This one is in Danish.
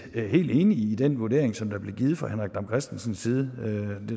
helt enige i den vurdering som blev givet fra henrik dam kristensens side